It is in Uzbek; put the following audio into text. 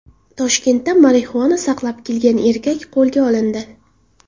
Toshkentda marixuana saqlab kelgan erkak qo‘lga olindi.